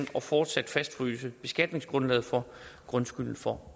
og fortsat fastfryse beskatningsgrundlaget for grundskylden for